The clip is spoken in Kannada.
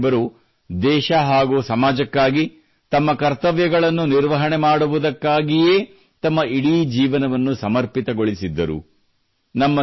ಬಾಬಾ ಸಾಹೇಬರು ದೇಶ ಹಾಗೂ ಸಮಾಜಕ್ಕಾಗಿ ತಮ್ಮ ಕರ್ತವ್ಯಗಳನ್ನು ನಿರ್ವಹಣೆ ಮಾಡುವುದಕ್ಕಾಗಿಯೇ ತಮ್ಮ ಇಡೀ ಜೀವನವನ್ನು ಸಮರ್ಪಿತಗೊಳಿಸಿದ್ದರು